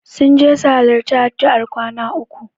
Sun je su halarci addu'ar kwana uku.